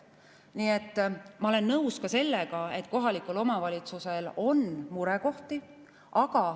Nii et ma olen nõus ka sellega, et kohalikul omavalitsusel on murekohti.